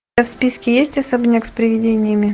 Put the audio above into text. у тебя в списке есть особняк с привидениями